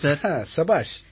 சபாஷ்